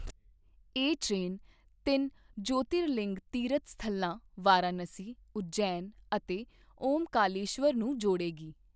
ਇਹ ਟ੍ਰੇਨ ਤਿੰਨ ਜਯੋਤਿਰਲਿੰਗ ਤੀਰਥ ਸਥਲਾਂ ਵਾਰਾਣਸੀ, ਉਜੈਨ ਅਤੇ ਓਅੰਕਾਰੇਸ਼ਵਰ ਨੂੰ ਜੋੜੇਗੀ।